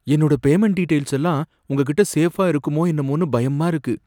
என்னோட payment details எல்லாம் உங்ககிட்ட சேஃபா இருக்குமோ என்னமோன்னு பயமா இருக்கு.